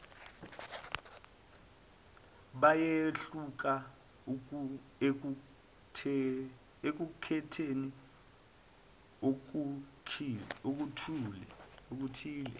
bayehluka ekukhetheni okuthile